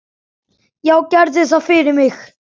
Já, gerðu það fyrir mig!